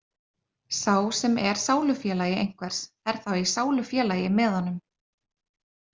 Sá sem er sálufélagi einhvers er þá í sálufélagi með honum.